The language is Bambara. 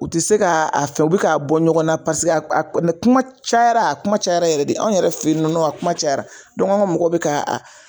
U te se k'a fɛ u be k'a bɔ ɲɔgɔn na paseke a a mɛ kuma cayara kuma cayara yɛrɛ de anw yɛrɛ fe yen nɔn a kuma cayara dɔn ka mɔgɔ be ka